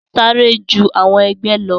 Sáré ju àwọn ẹgbẹ lọ.